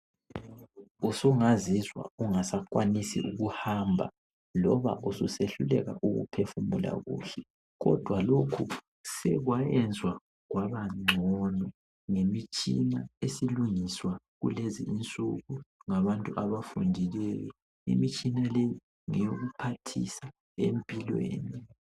Usungazizwa ungasakwanisi ukuhamba loba ususehluleka ukuphefumula kuhle kodwa lokhu sekwayenzwa kwabangcono ngemitshina esilungiswa kulezi insuku ngabantu abafundileyo imitshina leyi ngeyokuphathisa empilweni.